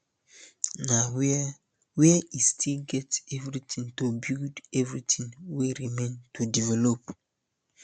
na wia wia e still get everytin to build everytin wey remain to develop